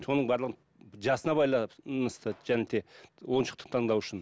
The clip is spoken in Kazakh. соның барлығын жасына байланысты және де ойыншықты таңдау үшін